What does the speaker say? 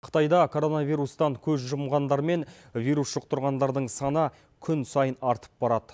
қытайда короновирустан көз жұмғандар мен вирус жұқтұрғандардың саны күн сайын артып барады